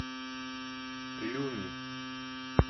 люми